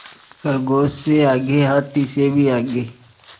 खरगोश से आगे हाथी से भी आगे